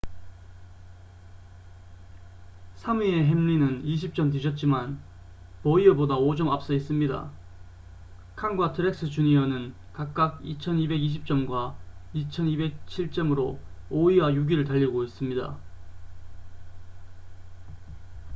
3위의 햄린은 20점 뒤졌지만 보이어보다 5점 앞서 있습니다 칸과 트렉스 주니어는 각각 2,220점과 2,207점으로 5위와 6위를 달리고 있습니다